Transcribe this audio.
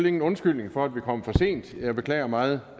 ingen undskyldning for at vi kommer for sent jeg beklager meget